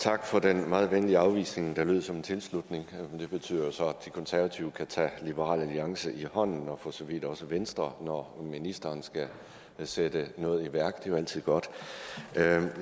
tak for den meget venlige afvisning der lød som en tilslutning men det betyder jo så at de konservative kan tage liberal alliance i hånden og for så vidt også venstre når ministeren skal sætte noget i værk er jo altid godt